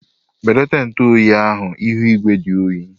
Belata ntu oyi ahu ihu igwe dị oyi